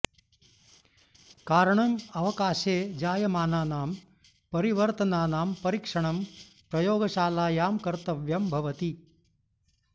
कारणम् अवकाशे जायमानानां परिवर्तनानां परीक्षणं प्रयोगशालायां कर्तव्यं भवति